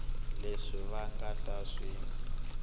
leswi va nga ta swi